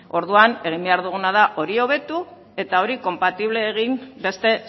orduan egin behar duguna da hori hobetu eta hori konpatible egin beste